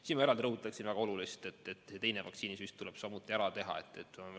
Siin ma eraldi rõhutaksin väga olulist asja: teine vaktsiinisüst tuleb samuti ära teha.